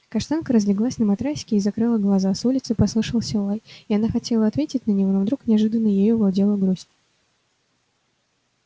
каштанка разлеглась на матрасике и закрыла глаза с улицы послышался лай и она хотела ответить на него но вдруг неожиданно ею овладела грусть